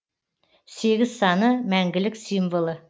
сегіз саны мәңгілік символы